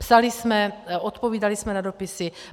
Psali jsme, odpovídali jsme na dopisy.